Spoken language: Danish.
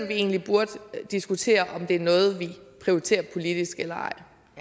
vi egentlig burde diskutere om det er noget vi prioriterer politisk eller